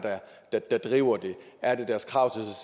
der driver det er det deres krav